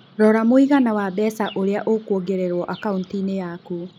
Rora mũigana wa mbeca ũria ũkũongererũo akaũnti-inĩ yaku.